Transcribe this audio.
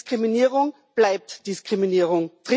Diskriminierung bleibt Diskriminierung.